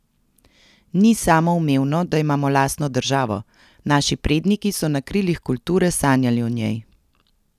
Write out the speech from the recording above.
Ni samoumevno, da imamo lastno državo, naši predniki so na krilih kulture sanjali o njej.